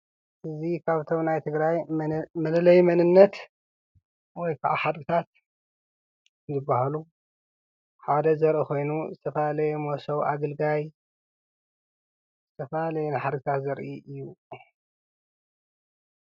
እዚ ኻብቶም ናይ ትግራይ መለለይ መንነት ወይ ከዓ ሓድግታት ዝበሃሉ ሓደ ዘርኢ ኾይኑ፣ ዝፋላለየ ሞሶብ፣ ኣገልጋይ ዝተፈላለየን ሓድግታት ዘርኢ እዩ፡፡